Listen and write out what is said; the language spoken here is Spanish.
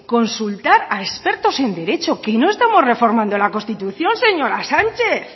consultar a expertos en derecho que no estamos reformando la constitución señora sánchez